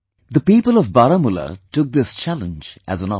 The people of Baramulla took this challenge as an opportunity